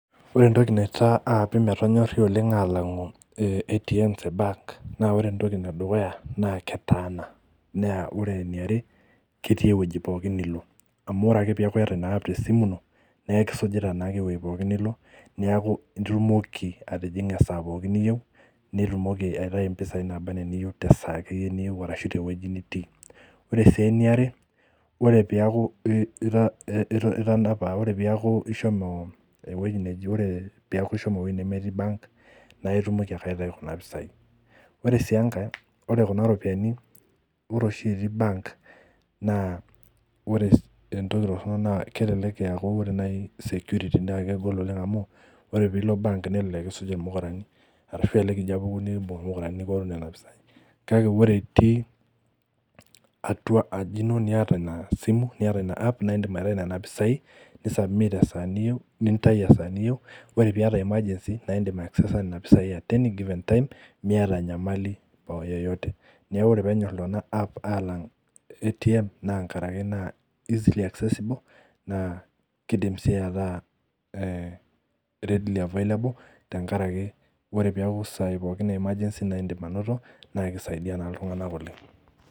Ore entoki naitaa aapi metonyorri oleng alang'u eh ATMs e bank naa ore entoki edukuya naa ketaana naa ore eniare ketii ewueji pookin nilo amu ore ake peeku iyata ina app tesimu ino neekisujita naake ewuei pooki nilo niaku itumoki atijing'a esaa pooki niyieu nitumoki aitai impisai naaba enaa iniyieu tesaa akeyie niyieu arashu tewueji nitii ore sii eniare ore piaku i ita itanapa ore piaku ishomo ewueji neji ore piaku ishomo ewueji nemetii bank naitumoki ake aitau kuna pisai ore sii enkae ore kuna ropiani ore oshi etii bank naa ore entoki torrono naa kelelek eaku ore naai security naa kegol oleng amu ore piilo bank nelelek kisuj irmukurani arashu elelek ijio apuku nikimbung irmukurani arashu elelek ijio apuku nikimbung irmukurani nikioru nena pisai kake ore itii atua aji ino niata ina simu niata ina app naindim aitai nena pisai ni submit esaa niyieu nintai esaa niyieu ore piata emergency naindim ae aksesa nena pisai at any given time miata enyamali poo yeyote niaku ore peenyorr iltung'ana app alang ATM naa nkarake naa easily accessible naa kidim sii ataa eh readily available tenkarake ore peeku isaai pookin e emergency naindim anoto naikisaidia naa iltung'anak oleng.